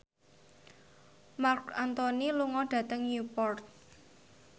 Marc Anthony lunga dhateng Newport